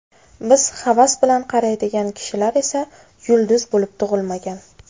Biz havas bilan qaraydigan kishilar esa yulduz bo‘lib tug‘ilmagan.